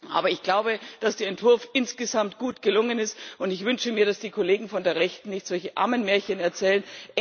Aber ich glaube, dass der Entwurf insgesamt gut gelungen ist, und ich wünsche mir, dass die Kollegen von der Rechten nicht solche Ammenmärchen erzählen.